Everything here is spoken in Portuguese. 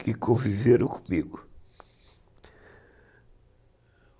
que conviveram comigo.